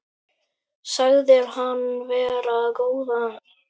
Sagðir hann vera góðan dreng.